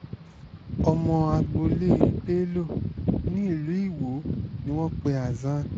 ọmọ agboolé bello nílùú iwọ ni wọ́n pe hasan